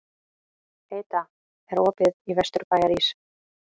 Heida, er opið í Vesturbæjarís?